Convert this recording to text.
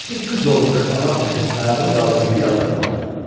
Nəsir qıc olmuş adam təkin ayağını qaldırıb bir addım atdı.